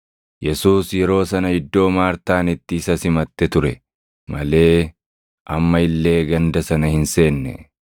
Yesuus yeroo sana iddoo Maartaan itti isa simatte ture malee amma illee ganda sana hin seenne.